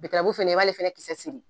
fɛnɛ i b'ale fɛnɛ kisɛ siri.